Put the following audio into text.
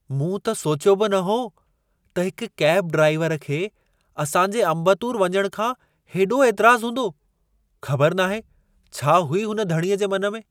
मूं त सोचियो बि न हो त हिक कैब ड्राइवर खे असां जे अम्बतूर वञण खां हेॾो ऐतराज़ हूंदो। ख़बर नाहे छा हुई हुन धणीअ जे मन में।